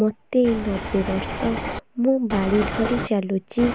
ମୋତେ ନବେ ବର୍ଷ ମୁ ବାଡ଼ି ଧରି ଚାଲୁଚି